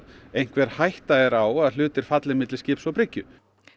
einhver hætta er á að hlutir falli milli skips og bryggju